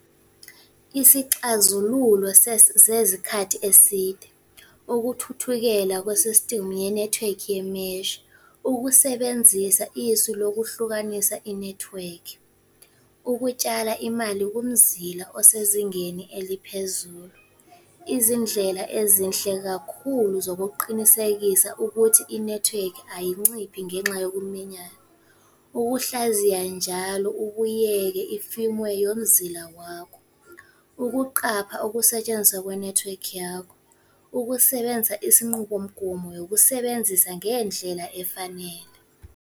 Isixazululo sezikhathi eside. Ukuthuthukela kwe-system yenethiwekhi . Ukusebenzisa isu lokuhlukanisa inethiwekhi. Ukutshala imali kumzila osezingeni eliphezulu. Izindlela ezinhle kakhulu zokuqinisekisa ukuthi inethiwekhi ayanciphi ngenxa yokuminyana. Ukuhlaziya njalo ubuyeke yomzila wakho. Ukuqapha ukusetshenziswa kwenethiwekhi yakho. Ukusebenza isinqubomgomo yokusebenzisa ngendlela efanele.